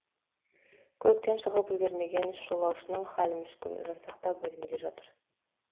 көліктен шығып үлгермеген үш жолаушының халі мүшкіл жансақтау бөлімінде жатыр